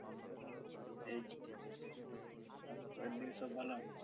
এই তো। বাড়ির দিকে সব ভালো?